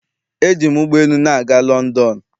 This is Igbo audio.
eji m ụgbọ elu na-aga London.